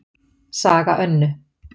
Saga Önnu